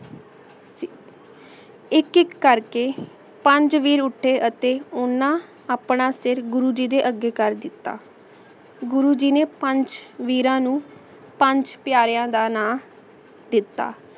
ਇਕ ਇਕ ਕਰ ਕੇ ਪੰਜ ਵੀਰ ਊਟੀ ਅਤੀ ਓਹਨਾਂ ਆਪਣਾ ਸਿਰ ਗੁਰੂ ਜੀ ਅਗੇ ਕਰ ਦਿਤਾ ਗੁਰੂ ਜੀ ਨੇ ਪੰਜ ਵੀਰਾਂ ਨੂ ਪੰਜ ਪਿਆਰਾ ਦਾ ਨਾ ਦਿਤਾ